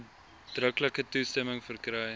uitdruklike toestemming verkry